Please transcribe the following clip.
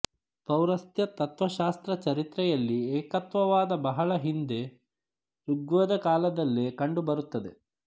ಪೌರಸ್ತ್ಯ ತತ್ತ್ವಶಾಸ್ತ್ರ ಚರಿತ್ರೆಯಲ್ಲಿ ಏಕತ್ವವಾದ ಬಹಳ ಹಿಂದೆ ಋಗ್ವೇದ ಕಾಲದಲ್ಲೇ ಕಂಡುಬರುತ್ತದೆ